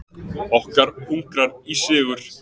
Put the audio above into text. Okkur hungrar í sigur.